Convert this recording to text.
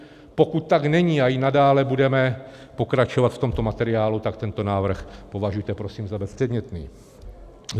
Pokud tak není a i nadále budeme pokračovat v tomto materiálu, tak tento návrh považujte prosím za bezpředmětný.